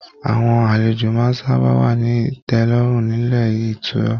Àwọn àlejò máa sábà wa ni tẹlọrun nílé ìtura.